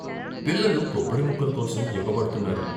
పిల్లలు కొబ్బరి ముక్కల కోసం ఎగబడ్తున్నారు.